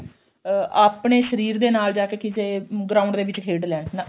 ਅਹ ਆਪਣੇ ਸ਼ਰੀਰ ਦੇ ਨਾਲ ਜਾ ਕੇ ਕਿਸੇ ground ਦੇ ਵਿੱਚ ਖੇਡ ਲੈਣ ਨਾ